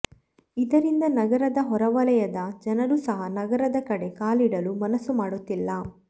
ಇದರಿಂದ ನಗರದ ಹೊರವಲಯದ ಜನರೂ ಸಹ ನಗರದ ಕಡೆ ಕಾಲಿಡಲು ಮನಸ್ಸು ಮಾಡುತ್ತಿಲ್ಲ